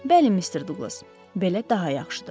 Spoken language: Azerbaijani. Bəli, Mister Duqlas, belə daha yaxşıdır.